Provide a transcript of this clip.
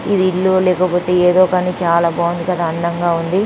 ఇది ఇల్లో లేకపోతే ఏంటో కానీ చుడానికి చాలా బాగుంది కదా.అందం గా ఉంది.